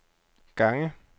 gange